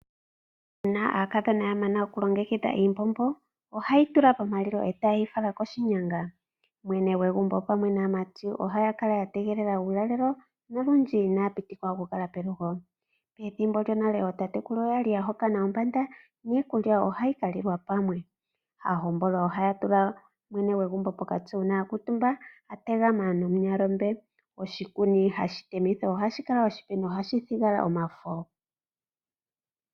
Uuna aakadhona ya mana okulongekidha iimbombo ohaye yi tula pomalilo e taye yi fala koshinyanga. Mwene gwegumbo pamwe naamati ohaya kala ya tegelela uulalelo nolundji inaya pitikwa okukala pelugo. Pethimbo lyonale ootatekulu oya li ya hokana ombanda niikulya ohayi ka lilwa pamwe. Aahokanwa ohaya tula mwene gwegumbo pokati uuna ya kuutumba a tegama namunyalombe. Oshikuni hashi temithwa ohashi kala oshipe nohashi thigwa omafo.